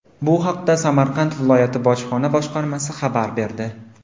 Bu haqda Samarqand viloyati bojxona boshqarmasi xabar berdi .